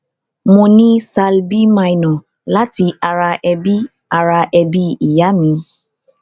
mo ni thal b minor lati ara ebi ara ebi iya mi